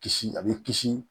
Kisi a bɛ kisi